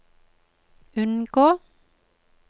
unngå